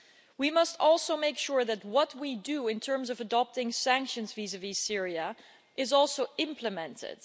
We must also make sure that what we do in terms of adopting sanctions vis vis Syria is also implemented.